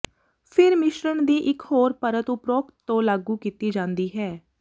ਫਿਰ ਮਿਸ਼ਰਣ ਦੀ ਇਕ ਹੋਰ ਪਰਤ ਉਪਰੋਕਤ ਤੋਂ ਲਾਗੂ ਕੀਤੀ ਜਾਂਦੀ ਹੈ